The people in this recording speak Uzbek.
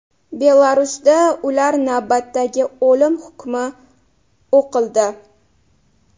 Belarusda ular navbatdagi o‘lim hukmi o‘qildi.